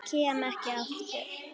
Kem ekki aftur.